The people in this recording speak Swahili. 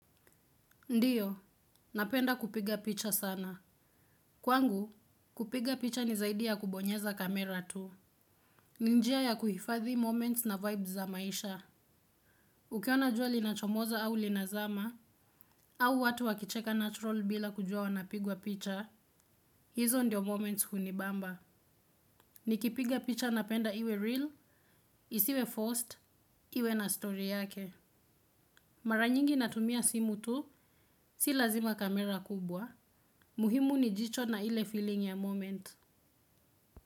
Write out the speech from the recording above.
Ndio, napenda kupiga picha sana. Kwangu, kupiga picha ni zaidia ya kubonyeza kamera tu. Ni njia ya kuhifadhi moments na vibes za maisha. Ukiona jua linachomoza au linazama, au watu wakicheka natural bila kujua wanapigwa picha, hizo ndio moments hunibamba. Nikipiga picha napenda iwe real, isiwe forced, iwe na story yake. Mara nyingi natumia simu tu, si lazima kamera kubwa. Muhimu ni jicho na ile feeling ya moment.